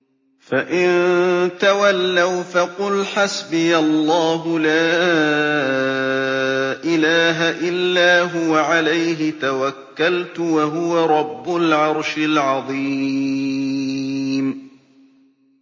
فَإِن تَوَلَّوْا فَقُلْ حَسْبِيَ اللَّهُ لَا إِلَٰهَ إِلَّا هُوَ ۖ عَلَيْهِ تَوَكَّلْتُ ۖ وَهُوَ رَبُّ الْعَرْشِ الْعَظِيمِ